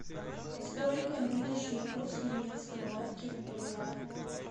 сколько нынешний курс немецкой марки в боливар